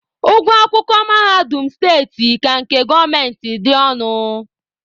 Ụgwọ akwụkwọ mahadum steeti ka nke gọọmenti dị ọnụ.